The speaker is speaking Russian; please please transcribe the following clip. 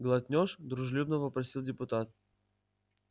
глотнёшь дружелюбно вопросил депутат